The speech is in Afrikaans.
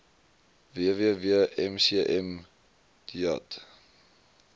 www mcm deat